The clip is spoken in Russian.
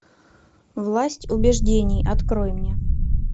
власть убеждений открой мне